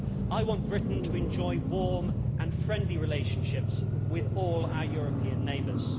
I want Britain to enjoy warm and friendly relationships with all our European neighbours.